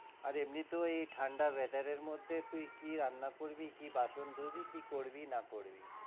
আর এমনিতেও এই ঠাণ্ডা weather এর মধ্যে তুই কি রান্না করবি, কি বাসন ধুবি, কি করবি না করবি?